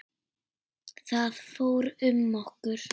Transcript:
Það fór um okkur.